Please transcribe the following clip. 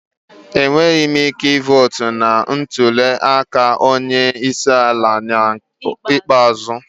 Enweghị m ike ịtụ vootu na ntuli aka onye isi ala ikpeazụ.